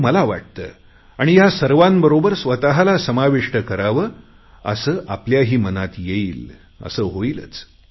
हे मला वाटते आणि या सर्वांबरोबर स्वतला समाविष्ट करावे असे आपल्याही मनात येईल असे होईलच